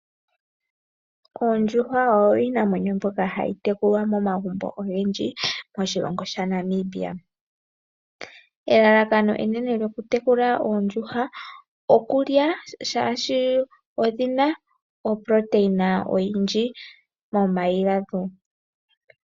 Oondjuhwa oyo iinamwenyo mbyoka hayi tekulwa momagumbo ogendji moshilongo shaNamibia, elalakano enene lyoku tekula oondjuhwa okulya shaashi odhi na opoloteyina oyindji momayi gadho.